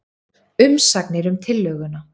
Umsagnir um tillöguna